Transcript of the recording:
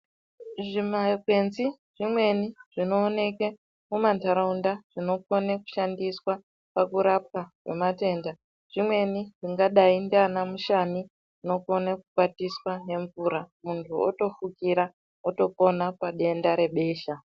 Zvima kwenzi zvimweni zvinoonekwa mumandaraunda zvinokona kushandiswa pakurapwa kwematenda zvimweni zvingadai sekurapwa kwemushani inokona kukwatiswa nemvura muntu wotofukira wotopona padenda rebesha.